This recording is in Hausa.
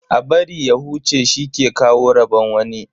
A bari ya huce shi ke kawo rabon wani.